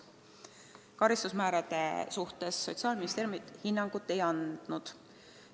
Karistusmäärade suhtes Sotsiaalministeerium hinnangut ei andnud.